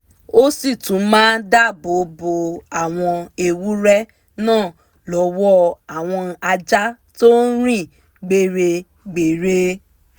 ó sì tún máa dáàbò bo àwọn ewúrẹ́ náà lọ́wọ́ àwọn ajá tó rìn gbéregbère